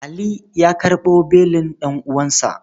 Ali ya karɓo belin ɗan'uwansa.